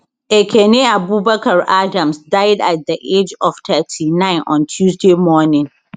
ekene abubakar adams die at di age of 39 on tuesday morning